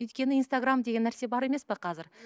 өйткені инстаграм деген нәрсе бар емес пе қазір